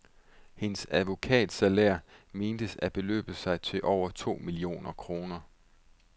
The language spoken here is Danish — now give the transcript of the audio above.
Hendes advokatsalærer mentes at beløbe sig til over to millioner kroner.